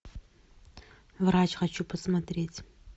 врач хочу посмотреть